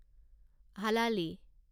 হালালী